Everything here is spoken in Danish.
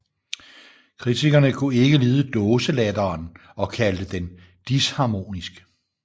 Kritikerne kunne ikke lide dåselatteren og kaldte den disharmonisk